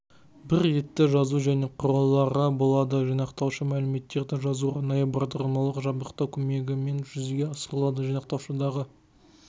бір ретті жазу және құрылғылары болады жинақтауышы мәліметтерді жазу арнайы бағдарламалық жабдықтау көмегімен жүзеге асырылады жинақтауышындағы